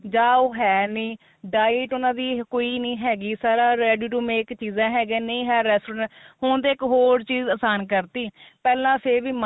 ਜਾ ਉਹ ਹੈ ਨੀ diet ਉਨਾਂ ਦੀ ਕੋਈ ਨੀ ਹੈਗੀ ਸਾਰਾ ready ਤੋ make ਚੀਜ਼ਾ ਹੈਗੀਆ ਨੇ ਨਹੀਂ ਹੈ restaurant ਹੁਣ ਤੇ ਇੱਕ ਹੋਰ ਚੀਜ਼ ਆਸਾਨ ਕਰਤੀ ਪਹਿਲਾਂ ਫੇਰ ਵੀ